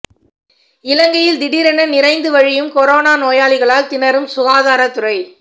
இலங்கையில் திடீரென நிறைந்து வழியும் கொரோனா நோயாளிகளால் திணறும் சுகாதார துறை